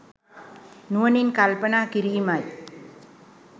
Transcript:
නුවණින් කල්පනා කිරීමයි